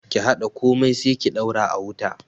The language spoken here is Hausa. Ki haɗa komai sai ki daura a wuta